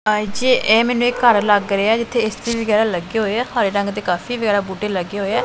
ਜੀ ਇਹ ਮੈਨੂੰ ਇੱਕ ਘਰ ਲੱਗ ਰਿਹਾ ਜਿੱਥੇ ਏ_ਸੀ ਵਗੈਰਾ ਲੱਗੇ ਹੋਏ ਆ ਹਰੇ ਰੰਗ ਤੇ ਕਾਫੀ ਜਿਆਦਾ ਬੂਟੇ ਲੱਗੇ ਹੋਏ ਆ।